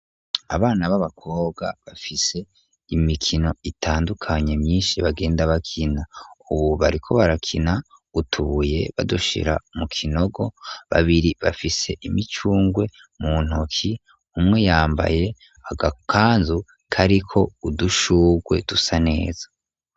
Abana b'abakobwa bafise imikino itandukanye myinshi bagenda bakina, ubu bariko barakina utubuye badushira mu kinogo babiri bafise imicungwe mu ntoki, umwe yambaye agakanzu kariko udushugwe dusa neza.